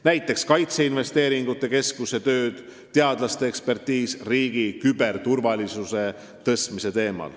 Näiteks võib tuua kaitseinvesteeringute keskuse töö, teadlaste ekspertiisi riigi küberturvalisuse suurendamise kohta.